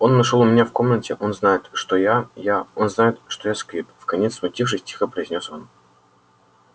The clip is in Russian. он нашёл у меня в комнате он знает что я я он знает что я сквиб вконец смутившись тихо произнёс он